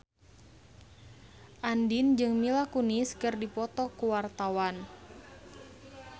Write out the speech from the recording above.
Andien jeung Mila Kunis keur dipoto ku wartawan